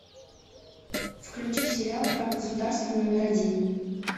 включи сериал враг государства номер один